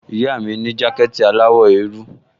Ìyá mi ní jákẹ̀tì aláwọ̀ eérú